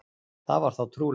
Það var þá trúlegt!